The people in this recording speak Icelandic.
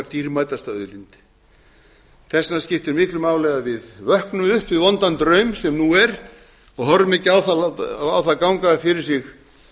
dýrmætasta auðlind þess vegna skiptir miklu máli að við vöknum upp við vondan draum sem nú er og horfum ekki á það ganga fyrir sig